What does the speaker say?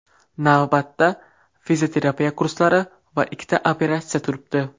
Navbatda fizioterapiya kurslari va ikkita operatsiya turibdi.